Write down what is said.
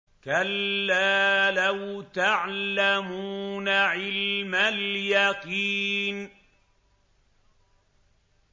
كَلَّا لَوْ تَعْلَمُونَ عِلْمَ الْيَقِينِ